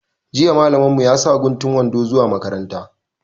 Jiya malamin mu ya sa guntun wando zuwa makaranta